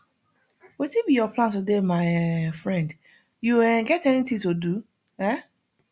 wetin be your plan today my um friend you um get anything to do um